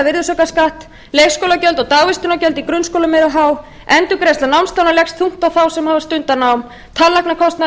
virðisaukaskatt leikskólagjöld og dagvistunargjöld í grunnskólum eru há endurgreiðsla námslána leggst þungt á þá sem hafa stundað nám tannlæknakostnaður